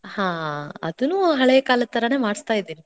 ಹಾ ಅದ್ನೂ ಹಳೇ ಕಾಲ್ದ ಥರಾನೇ ಮಾಡಸ್ತಾ ಇದ್ದೇನೆ.